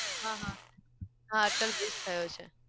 હા હા હા અટલ bridge થયો છે.